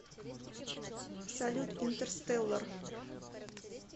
салют инетрстеллар